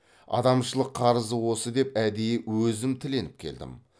адамшылық қарызы осы деп әдейі өзім тіленіп келдім